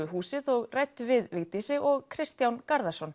húsið og ræddu við Vigdísi og Kristján